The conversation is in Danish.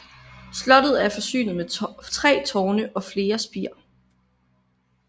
Slottet er forsynet med tre tårne og flere spir